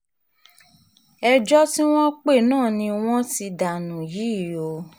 ẹjọ́ tí wọ́n pè náání wọ́n ti danú yìí o